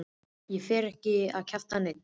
Ekki fer ég að kjafta í neinn.